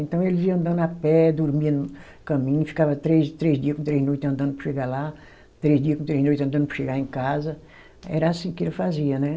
Então ele ia andando a pé, dormia no caminho, ficava três, três dia com três noite andando para chegar lá, três dia com três noite andando para chegar em casa, era assim que ele fazia, né?